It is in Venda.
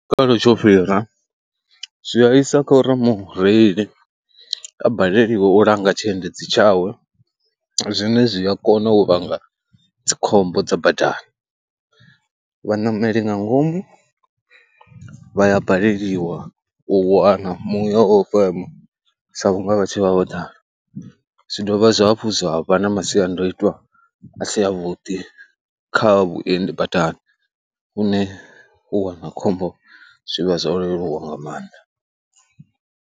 Kharali tsho fhira zwi a isa kha uri mureili a baleliwe u langa tshiendedzi tshawe zwine zwi a kona u vhanga dzikhombo dza badani. Vhaṋameli nga ngomu vha ya baleliwa u wana muya wo fema sa vhunga vha tshi vha vho ḓala, zwi dovha zwa hafhu zwa vha na masiandaitwa a si avhuḓi kha vhuendi badani, lune u wana khombo zwi vha zwo leluwa nga maanḓa.